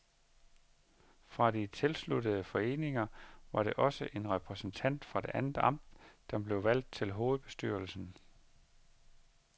Fra de tilsluttede foreninger var det også en repræsentant fra et andet amt, som blev valgt til hovedbestyrelsen.